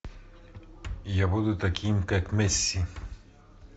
я буду таким как месси